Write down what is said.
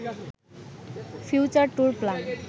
future tour plan